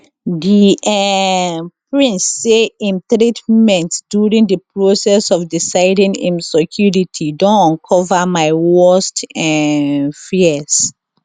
di um prince say im treatment during di process of deciding im secuirty don uncover my worst um fears